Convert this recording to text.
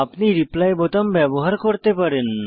আপনি রিপ্লাই বোতাম ব্যবহার করতে পারেন